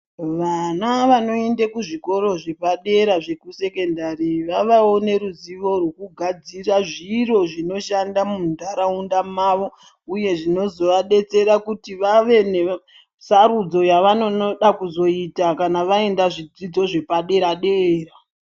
Vana vanoende kuzvikora zvepadera zvekusekendari, vavawo neruzivo rwokugadzira zviro zvinoshanda muntaraunda mawo uye zvinozovadetsera kuti vave nesarudzo yavanonoda kuzoita kana vaenda zvidzidzo zvepadera dera.